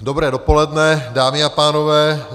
Dobré dopoledne, dámy a pánové.